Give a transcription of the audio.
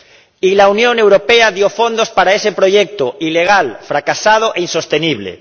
Y la Unión Europea dio fondos para ese proyecto ilegal, fracasado e insostenible.